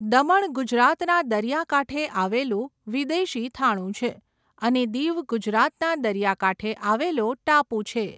દમણ ગુજરાતના દરિયાકાંઠે આવેલું વિદેશી થાણું છે અને દીવ ગુજરાતના દરિયાકાંઠે આવેલો ટાપુ છે.